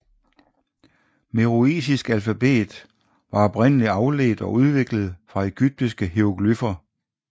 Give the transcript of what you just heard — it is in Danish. Meroitisk alfabet var oprindelig afledt og udviklet fra egyptiske hieroglyfer